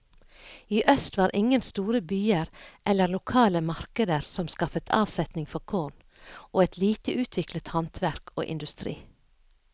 I øst var ingen store byer eller lokale markeder som skaffet avsetning for korn, og lite utviklet handverk og industri.